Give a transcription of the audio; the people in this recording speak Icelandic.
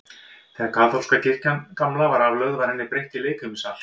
Þegar kaþólska kirkjan gamla var aflögð, var henni breytt í leikfimisal.